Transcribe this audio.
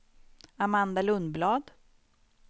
Amanda Lundblad